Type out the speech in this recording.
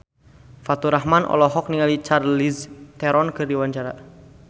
Faturrahman olohok ningali Charlize Theron keur diwawancara